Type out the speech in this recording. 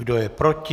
Kdo je proti?